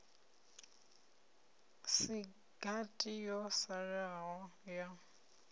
si gathi yo salaho ya